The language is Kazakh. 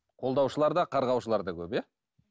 қолдаушылар да қарғаушылар да көп иә